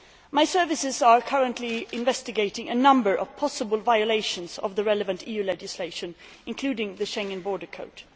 My services are currently investigating a number of possible violations of the relevant EU legislation, including the Schengen Borders Code.